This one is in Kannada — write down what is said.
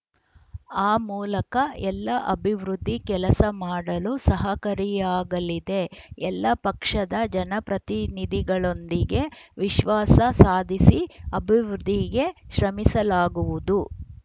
ಆ ಮೂಲಕ ಎಲ್ಲ ಅಭಿವೃದ್ಧಿ ಕೆಲಸ ಮಾಡಲು ಸಹಕರಿಯಾಗಲಿದೆ ಎಲ್ಲ ಪಕ್ಷದ ಜನಪ್ರತಿನಿಧಿಗಳೊಂದಿಗೆ ವಿಶ್ವಾಸ ಸಾಧಿಸಿ ಅಭಿವೃದ್ಧಿಗೆ ಶ್ರಮಿಸಲಾಗುವುದು